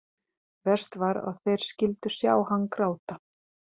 Verst var að þeir skyldu sjá hann gráta.